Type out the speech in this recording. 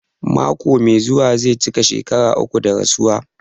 Mako mai zuwa zai cika shekara uku da rasuwa.